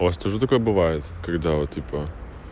тоже такое бывает когда вот типа